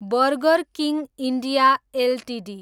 burger King India Ltd